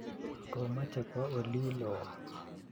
Komache kwo olilo